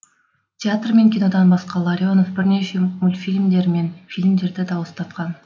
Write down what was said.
театр мен кинодан басқа ларионов бірнеше мультфильмдер мен фильмдерді дауыстатқан